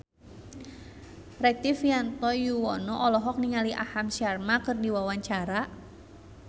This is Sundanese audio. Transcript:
Rektivianto Yoewono olohok ningali Aham Sharma keur diwawancara